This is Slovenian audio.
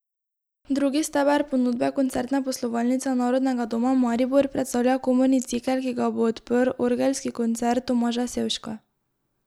Drugi steber ponudbe Koncertne poslovalnice Narodnega doma Maribor predstavlja komorni cikel, ki ga bo odprl orgelski koncert Tomaža Sevška.